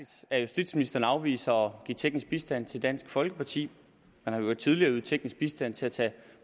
at justitsministeren afviser at give teknisk bistand til dansk folkeparti man har i øvrigt tidligere ydet teknisk bistand til at tage